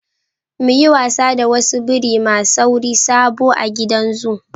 Mu yi wasa da wasu biri ma sauri sabo a gidan zoo.